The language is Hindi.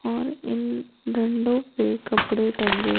और इन पे कपडे टंगे--